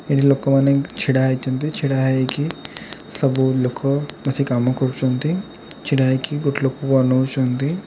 ଏଠି ଲୋକମାନେ ଛିଡ଼ାହେଇଛନ୍ତି ଛିଡ଼ା ହେଇକି ସବୁ ଲୋକ ବସି କାମ କରୁଛନ୍ତି ଛିଡ଼ା ହେଇକି ଗୋଟେ ଲୋକକୁ ଅନଉଛନ୍ତି।